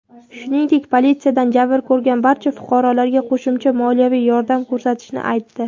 shuningdek politsiyadan jabr ko‘rgan barcha fuqarolarga qo‘shimcha moliyaviy yordam ko‘rsatishini aytdi.